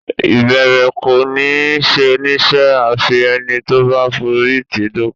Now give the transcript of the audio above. Ìbẹ̀rẹ̀ kọ́ ni oníṣẹ́ a fi ẹni tó bá forí tì í dópin.